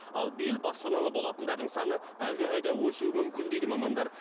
ал биыл баспаналы болатындардың саны әлдеқайда өсуі мүмкін дейді мамандар